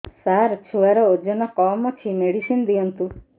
ସାର ଛୁଆର ଓଜନ କମ ଅଛି ମେଡିସିନ ଦିଅନ୍ତୁ